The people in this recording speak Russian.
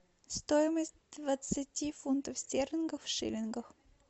стоимость двадцати фунтов стерлингов в шиллингах